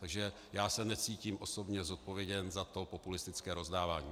Takže já se necítím osobně zodpovědný za to populistické rozdávání.